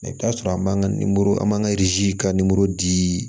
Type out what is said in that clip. Mɛ i bɛ t'a sɔrɔ an b'an ka an b'an ka ka di